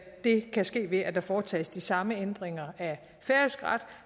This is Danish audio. det kan ske ved at der foretages de samme ændringer af færøsk ret